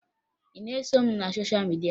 Ị na-eso m na sosha midia?